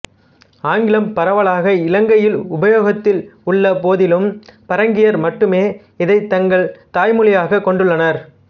ஆங்கிலம் பரவலாக இலங்கையில் உபயோகத்தில் உள்ள போதிலும் பரங்கியர் மட்டுமே இதைத் தங்கள் தாய் மொழியாகக் கொண்டுள்ளனர்